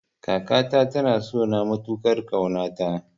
Kakata ta na sona matukar kauna ta